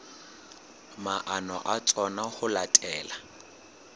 maano a tsona ho latela